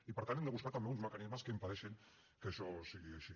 i per tant hem de buscar també uns mecanismes que impedeixin que això sigui així